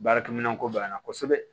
Baarakɛminɛn ko b'an na kosɛbɛ